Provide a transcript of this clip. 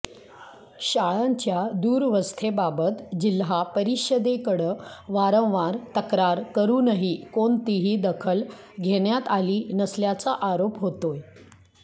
शाळांच्या दूरवस्थेबाबत जिल्हा परिषदेकडं वारंवार तक्रार करुनही कोणतीही दखल घेण्यात आली नसल्याचा आरोप होतोय